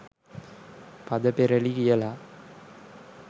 පද පෙරළි කියලා.